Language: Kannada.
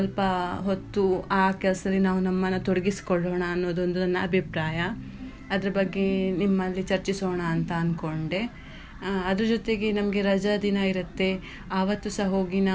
ಸ್ವಲ್ಪ ಹೊತ್ತು ಆ ಕೆಲ್ಸದಲ್ಲಿ ನಾವು ನಮ್ಮನ್ನ ತೊಡಗಿಸಿಕೊಳ್ಳೋಣ ಅನ್ನೋದೊಂದು ನನ್ನ ಅಭಿಪ್ರಾಯ ಅದರ ಬಗ್ಗೆ ನಿಮ್ಮಲ್ಲಿ ಚರ್ಚಿಸೋಣ ಅಂತ ಅನ್ಕೊಂಡೇ ಅದ್ರ ಜೊತೆಗೆ ನಮಗೆ ರಜಾ ದಿನ ಇರುತ್ತೆ ಆವತ್ತು ಸಹ ಹೋಗಿ.